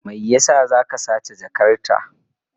Me yasa za ka sace jakarta?